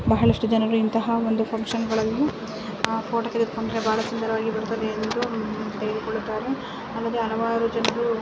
ಬಹಳಷ್ಟು ಜನಗಳು ಇಂತಹ ಒಂದು ಫಂಕ್ಷನ್ಗಳಲ್ಲಿ ಆ ಫೋಟೋ ತೆಗೆದುಕೊಂಡ್ರೆ ಬಹಳ ಸುಂದರವಾಗಿ ಬರುತ್ತೆವೆ ಎಂದು ಹ್ಮ್ಮ್ ತೆಗೆದುಕೊಳ್ಳುತ್ತಾರೆ. ಆಮೇಲೆ ಹಲವಾರು ಜನರು --